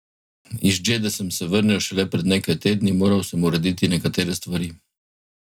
Iz Džede sem se vrnil šele pred nekaj tedni, moral sem urediti nekatere stvari.